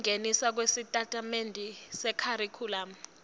kungeniswa kwesitatimende sekharikhulamu